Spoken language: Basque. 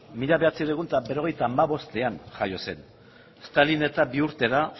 mila bederatziehun eta berrogeita hamabostean jaio zen stalin eta bi urtera